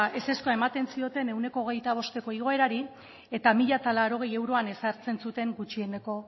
ezezkoa ematen zioten ehuneko zero koma hogeita bosteko igoerari eta mila laurogei euroan ezartzen zuten gutxieneko